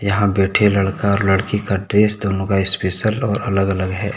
यहाँ बैठे लड़का और लड़की का ड्रेस दोनो का स्पेशल और अलग अलग है।